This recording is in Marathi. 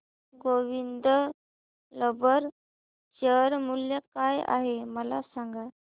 गोविंद रबर शेअर मूल्य काय आहे मला सांगा